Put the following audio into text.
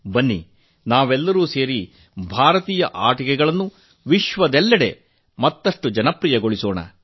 ಬನ್ನಿ ನಾವೆಲ್ಲರೂ ಸೇರಿ ಭಾರತೀಯ ಆಟಿಕೆಗಳನ್ನು ಜಗತ್ತಿನೆಲ್ಲೆಡೆ ಮತ್ತಷ್ಟು ಜನಪ್ರಿಯಗೊಳಿಸೋಣ